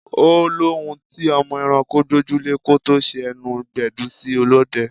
Ó lóhùn tí ọmọ ẹranko gbójú lè kó tó ṣe ẹnu gbẹdun sí ọlọ́dẹ.